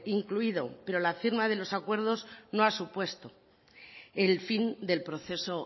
incluido pero la firma de los acuerdos no ha supuesto el fin del proceso